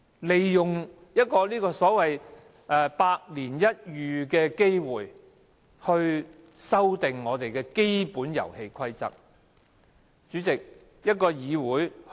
利用一個"百年一遇的機會"去修改我們的基本遊戲規則，是否太過急功近利？